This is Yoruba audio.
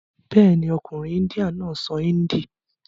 Bẹ́ẹ̀ni, ọkùnrin índíà náà sọ índì.